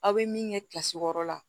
Aw bɛ min kɛ wɔɔrɔ la